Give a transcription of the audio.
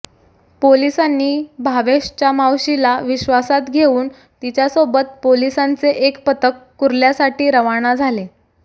पोलिसांनी भावेशच्या मावशीला विश्वासात घेऊन तिच्यासोबत पोलिसांचे एक पथक कुर्ल्यासाठी रवाना झाले